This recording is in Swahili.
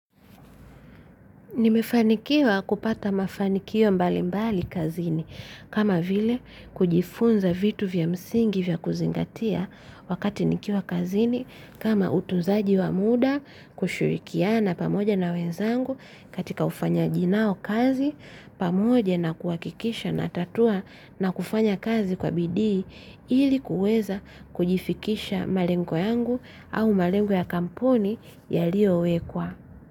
Nimefanikiwa kupata mafanikio mbalimbali kazini, kama vile kujifunza vitu vya msingi vya kuzingatia wakati nikiwa kazini, kama utunzaji wa muda, kushirikiana pamoja na wenzangu katika ufanyaji nao kazi. Pamoja na kuhakikisha natatua na kufanya kazi kwa bidii. Ili kuweza kujifikisha malengo yangu au malengo ya kampuni yaliyowekwa.